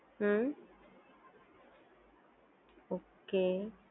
હમ્મ okay